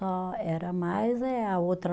era mais eh a outra